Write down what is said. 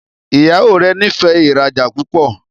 Ìyàwó rẹ n'ifẹ ìrajà púpọ.